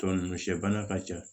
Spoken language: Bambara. Tɔ ninnu sɛ bana ka ca